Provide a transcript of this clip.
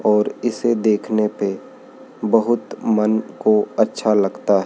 और इसे देखने पे बहुत मन को अच्छा लगता--